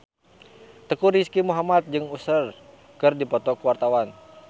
Teuku Rizky Muhammad jeung Usher keur dipoto ku wartawan